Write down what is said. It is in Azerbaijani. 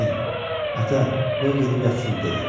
"Nen, ata, qoy gedib yatsın," dedi.